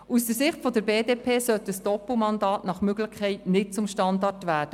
Aus Sicht der BDP sollte ein Doppelmandat nach Möglichkeit nicht zum Standard werden.